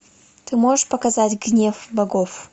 ты можешь показать гнев богов